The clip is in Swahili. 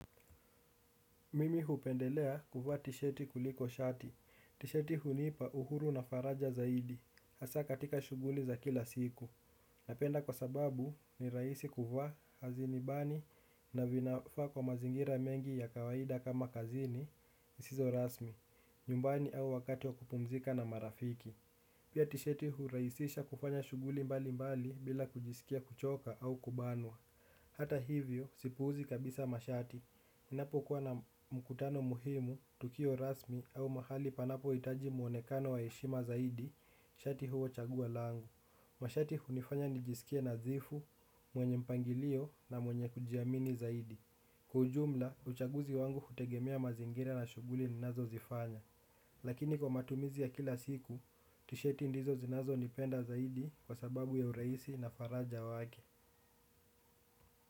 Mimi hupendelea kuvaa tishati kuliko shati. Tishati hunipa uhuru na faraja zaidi. Hasa katika shughuli za kila siku. Napenda kwa sababu ni rahisi kuvaa hazinibani na vinafaa kwa mazingira mengi ya kawaida kama kazini zisizo rasmi. Nyumbani au wakati wa kupumzika na marafiki. Pia tisheti hurahisisha kufanya shughuli mbalimbali bila kujisikia kuchoka au kubanwa. Hata hivyo, sipuuzi kabisa mashati. Ninapokuwa na mkutano muhimu, tukio rasmi au mahali panapohitaji muonekano wa heshima zaidi, shati huwa chaguo langu. Mashati hunifanya nijisikie nadhifu, mwenye mpangilio na mwenye kujiamini zaidi. Kwa ujumla, uchaguzi wangu hutegemea mazingira na shughuli ninazozifanya. Lakini kwa matumizi ya kila siku, tisheti ndizo zinazonipenda zaidi kwa sababu ya urahisi na faraja wake.